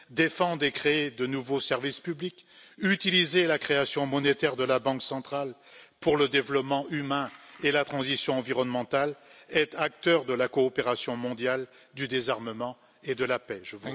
défendre et créer de nouveaux services publics, utiliser la création monétaire de la banque centrale pour le développement humain et la transition environnementale, être acteur de la coopération mondiale du désarmement et de la paix.